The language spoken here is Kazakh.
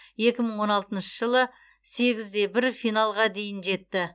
екі мың он алтыншы жылы сегіз де бір финалға дейін жетті